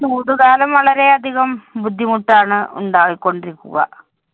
ചൂടുകാലം വളരെ അധികം ബുദ്ധിമുട്ടാണ് ഉണ്ടാക്കി കൊണ്ടിരിക്കുക.